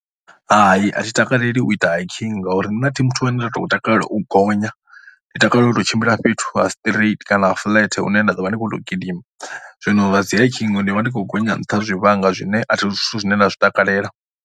Hai, a thi takaleli u ita hiking ngauri nṋe a thi muthu ane a tou takalela u tou gonya. Ndi takalela u tou tshimbila fhethu ha straight kana ha flat hune nda ḓovha ndi khou tou gidima. Zwino zwa dzi hiking ndi vha ndi khou gonya nṱha ha zwivhanga zwine a si zwithu zwine nda zwi takalela.